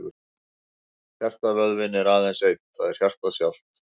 Hjartavöðvinn er aðeins einn, það er hjartað sjálft.